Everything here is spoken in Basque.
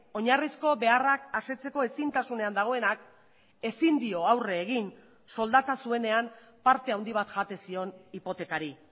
oinarrizko beharrak asetzeko ezintasunean dagoenak ezin dio aurre egin soldata zuenean parte handi bat jaten zion hipotekari